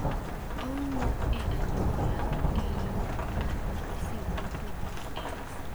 Owuok e anyuola e yo mar recessive motudi gi X